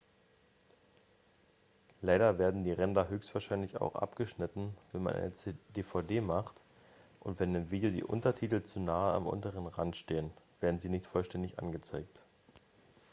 leider werden die ränder höchstwahrscheinlich auch abgeschnitten wenn man eine dvd macht und wenn im video die untertitel zu nahe am unteren rand stehen werden sie nicht vollständig angezeigt